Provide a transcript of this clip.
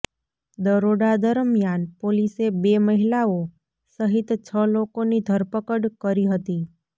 દરોડા દરમિયાન પોલીસે બે મહિલાઓ સહિત છ લોકોની ધરપકડ કરી હતી